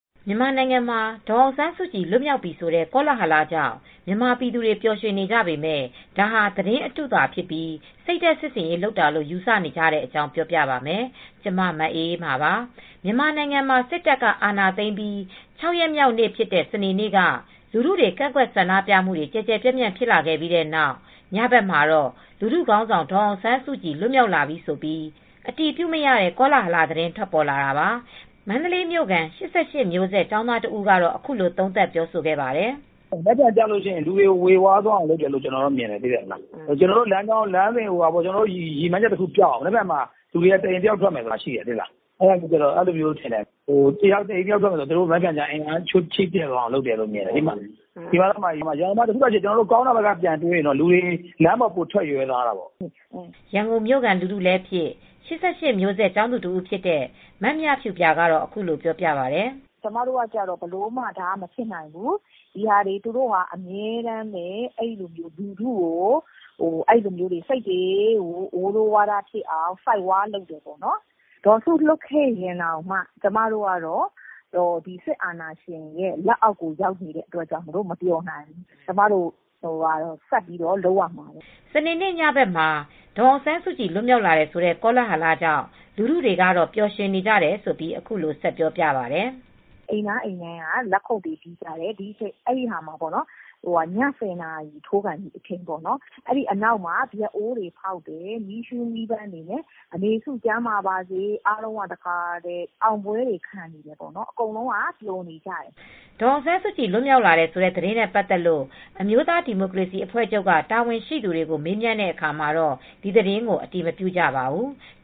မြန်မာနိုင်ငံမှာ ဒေါ်အောင်ဆန်းစုကြည် လွတ်မြောက်ပြီဆိုတဲ့ ကောလာဟလ ကြောင့် မြန်မာပြည်သူတွေေ ပျာ်ရွင်နေကြပေမယ့် ဒါဟာ သတင်းအတုသာဖြစ်ပြီး စိတ်ဓါတ်စစ်ဆင်ရေး လုပ်တာလို့ယူဆနေကြတဲ့အကြောင်း ထိုင်း အခြေစိုက် ဗွီအိုအေ သတင်းထောက် မအေးအေးမာက တင်ပြပေးမှာပါ။ မြန်မာနိုင်ငံမှာ စစ်တပ်က အာဏာသိမ်းပြီး ၆ ရက်မြောက်နေ့ဖြစ်တဲ့ စနေနေ့မှာ လူထုတွေ ကန့်ကွက်ဆန္ဒပြမူတွေ ကျယ်ကျယ်ပြန့့်ပြန့်ဖြစ်လာခဲ့ပြီး နောက် ညဘက်မှာတော့ ဒေါ်အောင်ဆန်းစုကြည် လွတ်မြောက်လာပြီဆိုပြီး အတည်ပြုမရတဲ့ ကောလာဟလ ထွက်ပေါ်လာတာပါ။ မန္တလေးမြိုခံ ၈၈မျိုးဆက်ကျောင်းသား တဦးကတော့ အခုလို သုံးသပ်ပြောဆိုခဲ့ပါတယ်။ “ မနက်ဖန် အတွက်ေ၀ဝါးသွားအောင် လုပ်တယ်လို့ ထင်တယ်။ ကျနော်တို့ ရည်မှန်းချက် ပျောက်အောင် လုပ်တယ်ထင်တယ်။ မနက်ဖြန် မှာ လူတွေက တအိမ်တယောက် ထွက်မယ်လို့ လုပ်ထားတယ်။ ဒါကို အင်အားချိနဲ့သွားအောင် လုပ်တယ်လို့ထင်တယ်။ တအိမ်တယောက် ထွက်မယ်ဆိုတော့ တဖက်ကလည်း အကောင်းဘက်က ပြောရင်တော့ လူထုတွေက လမ်းပေါ်ထွက်ရဲ သွားတာပေါ့” လို့ဆိုပါတယ်။ ရန်ကုန်မြို့ခံ ၈၈မျိုးဆက်ကျောင်းသူ တဦးဖြစ်တဲ့ မမြဖြူပြာကတော့အခုလိုပြောပြပါတယ်။ “ကျမတို့ထင်တာက ဒီလိုမျိုး ဘယ်လိုမှ မဖြစ်နိုင်ဘူးထင်တယ်။ သူတို့ကအမြဲတမ်းပဲ လူထုကို ဝေေ၀ဝါးဝါးဖြစ်အောင် ်ဆိုက်ဝါးလုပ်တာလို့ ထင်တယ်။ ဒေါ်စု လွတ်ခဲ့ရင်တောင်မှ ကျမတို့က စစ်အာဏာရှင် လက်အောက်ကို ရောက်နေတဲ့အတွက် မပျော်နိုင်ဘူး။ ကျမတို့က ဆက်ပြီး လုပ်ရမှာပဲ” လို့ပြောသွားတာပါ။ စနေနေ့ည ဘက်မှာ ဒေါ်အောင်ဆန်းစုကြည် လွတ်မြောက်တယ်ဆိုတဲ့ ကောလာဟလ ကြောင့် လူထုတွေကတော့ ပျော်ရွှင်နေကြတယ် ဆိုပြီး အခုလို ဆက်ပြောပါတယ်။ "အိမ်တိုင်းအိမ်တိုင်းက လက်ခုပ်တွေ တီးကြတယ်။ အဲဒီနောက် ည ၁၀ နာရီထိုးခါနီး အချိန်မှာပေါ့ ဗျောက်အိုးတွေဖောက်ပြီး မီးရှူးမီးပန်းတွေနဲ့ အမေစု ကျန်းမာပါစေပေါ့။ အားလုံးက အောင်ပွဲတွေခံပြီး အကုန်လုံးကပျော်နေကြတယ်။ " ဒေါ်အောင်ဆန်းစုကြည် လွတ်မြောက်လာတယ် ဆိုတဲ့ သတင်းနဲ့ ပတ်သက်လို့အမျိုးသားဒီမိုကရေစီ အဖွဲ့ချုပ်က တာဝန်ရှိသူတွေကို မေးမြန်းတဲ့ အခါမှာတော့ ဒီသတင်းကို အတည်မပြုကြပါဘူး။